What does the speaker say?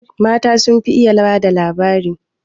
Mata sun fi iya ba da labari